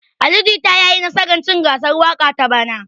Ali Jita ya yi nasar cin gasar waƙa ta bana.